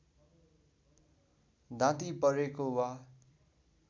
दाँती परेको वा